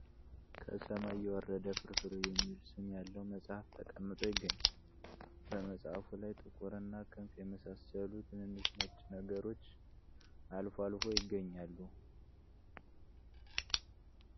ከሰማይ የወረደ ፍርፍር የሚል ስም ያለው መጽሃፍ ተቀምጦ ይገኛል በመጽሐፉ ላይ ጥቁር እና ክንፍ የመሳሰሉ ትንንሽ ነጭ ነገሮች አልፎ አልፎ ይገኛሉ ።